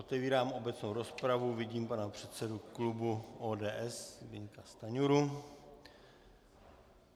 Otevírám obecnou rozpravu, vidím pana předsedu klubu ODS Zbyňka Stanjuru.